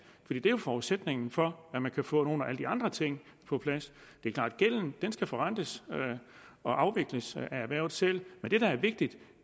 det er jo forudsætningen for at man kan få nogle af alle de andre ting på plads det er klart at gælden skal forrentes og afvikles af erhvervet selv men det der er vigtigt